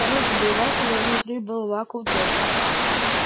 снаружи был вакуум и внутри был вакуум тоже